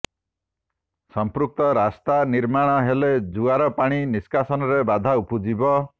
ସମ୍ପୃକ୍ତ ରାସ୍ତା ନିର୍ମାଣ ହେଲେ ଜୁଆର ପାଣି ନିଷ୍କାସନରେ ବାଧା ଉପୁଜିବ